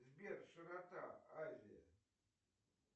сбер широта азия